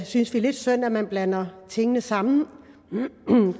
synes det er lidt synd at man blander tingene sammen